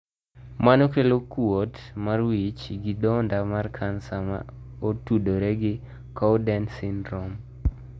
Mano kelo kuot mar wich gi dondo mar kansa ma otudore gi Cowden syndrome.